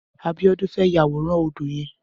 Abiodun fè yàwóràn ódó yèn